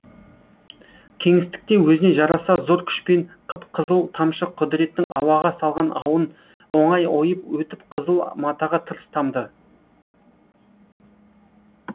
кеңістікте өзіне жараса зор күшпен қып қызыл тамшы құдіреттің ауаға салған ауын оңай ойып өтіп қызыл матаға тырс тамды